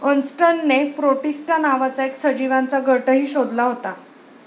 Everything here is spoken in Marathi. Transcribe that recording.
अर्न्स्टने 'प्रोटिस्टा' नावाचा एक सजीवांचा गटही शोधला होता.